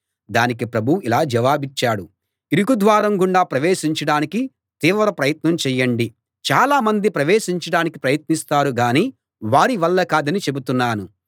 దానికి ప్రభువు ఇలా జవాబిచ్చాడు ఇరుకు ద్వారం గుండా ప్రవేశించడానికి తీవ్ర ప్రయత్నం చెయ్యండి చాలా మంది ప్రవేశించడానికి ప్రయత్నిస్తారుగానీ వారి వల్ల కాదని చెబుతున్నాను